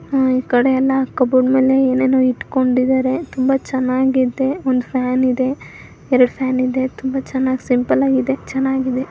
ಈ ಕಡೆ ಎಲ್ಲ ಕಬೋರ್ಡ್ ಮೇಲೆ ಏನೋ ಇಟ್ಕೊಂಡಿದ್ದಾರೆ ತುಂಬಾ ಚೆನ್ನಾಗಿದೆ ಒಂದ ಫ್ಯಾನ್ ಇದೆ ಎರಡು ಫ್ಯಾನ್ ಇದೆ. ತುಂಬಾ ಚೆನ್ನಾಗ್ ಸಿಂಪಲ್ ಆಗಿದೆ ಚೆನ್ನಾಗಿದೆ.